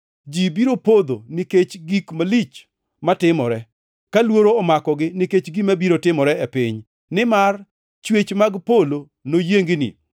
Ji biro podho nikech gik malich matimore, ka luoro omakogi nikech gima biro timore e piny, nimar chwech mag polo noyiengni.